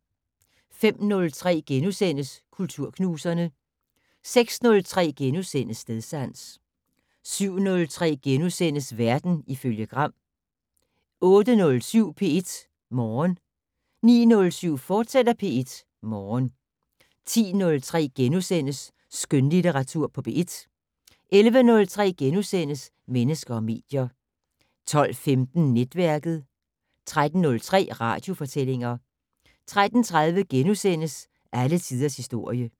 05:03: Kulturknuserne * 06:03: Stedsans * 07:03: Verden ifølge Gram * 08:07: P1 Morgen 09:07: P1 Morgen, fortsat 10:03: Skønlitteratur på P1 * 11:03: Mennesker og medier * 12:15: Netværket 13:03: Radiofortællinger 13:30: Alle tiders historie *